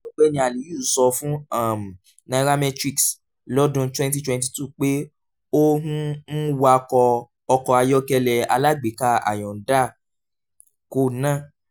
ọ̀gbẹ́ni aliyu sọ fún um nairametrics lọ́dún twenty twenty two pé ó ń ń wakọ̀ ọkọ̀ ayọ́kẹ́lẹ́ alágbèéká hyundai kòna